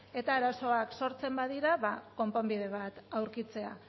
eta arazoak sortzen badira konponbide bat aurkitzea